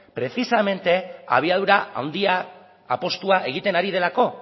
precisamente abiadura handia apustua egiten ari delako